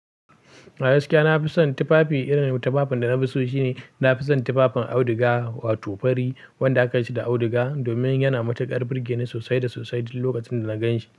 A gaskiya na fi son tufafi. Irin tufafin da na fi so shine na fi son tufafin auduga, wato fari wanda aka yi shi da auduga domin yana matuƙar burge ni sosai da sosai duk lokacin da na gan shi.